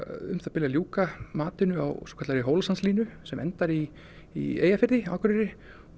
um það bil að ljúka mati á svokallaðri Hólasandslínu sem endar í í Eyjafirði á Akureyri